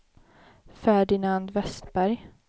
Ferdinand Vestberg